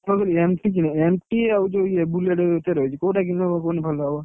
ମୁଁଁ କହିଲି MT କିଣିବାକୁ MT ଆଉ ଯୋଉ ଇଏ Bullet ଭିତରେ ରହିଛି କୋଉଟା କିଣିଲେ କୁହନି ଭଲ ହବ